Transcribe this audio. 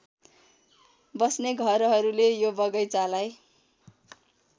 बस्ने घरहरूले यो बगैंचालाई